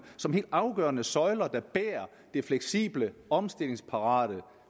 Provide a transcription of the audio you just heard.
som helt afgørende søjler der bærer det fleksible omstillingsparate og